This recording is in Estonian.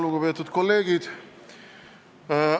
Lugupeetud kolleegid!